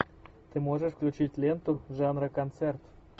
ты можешь включить ленту жанра концерт